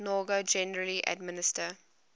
noro generally administer